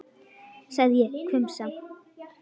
sagði ég hvumsa.